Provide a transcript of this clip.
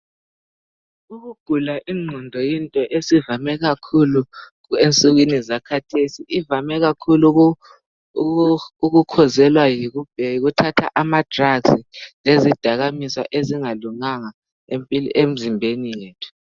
Ukugula ingqondo yinto esivame kakhulu emsukwini zakhathesi. Ivame kakhulu ukukhwezela yikuthatha amadrugs lezidakamizwa ezingalunganga emzimbeni yethu.